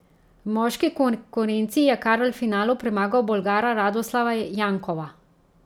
V moški konkurenci je Karl v finalu premagal Bolgara Radoslava Jankova.